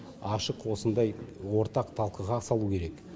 ашық осындай ортақ талқыға салу керек